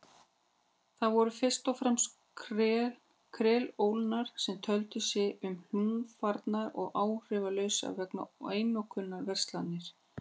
Það voru fyrst og fremst kreólarnir sem töldu sig hlunnfarna og áhrifalausa vegna einokunarverslunarinnar.